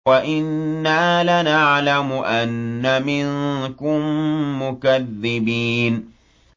وَإِنَّا لَنَعْلَمُ أَنَّ مِنكُم مُّكَذِّبِينَ